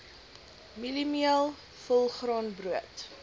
mieliemeel volgraan brood